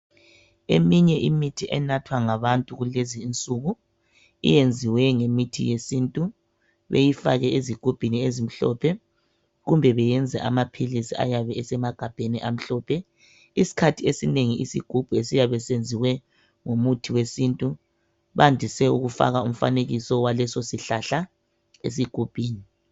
Eminye imithi enathwa ngabantu kulezi insuku, iyenziwe ngemithi yesintu beyifake ezigubhini ezimhlophe kumbe beyenze amaphilisi ayabe esemagabheni amhlophe, iskhathi esinengi isigubhu esiyabe senziwe ngomuthi wesintu bandise ukufaka umfanekiso waleso sihlahla esigubhini.